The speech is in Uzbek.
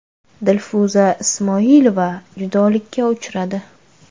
Dilfuza Ismoilova judolikka uchradi.